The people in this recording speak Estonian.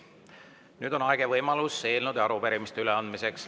Nüüd on aeg ja võimalus eelnõude ja arupärimiste üleandmiseks.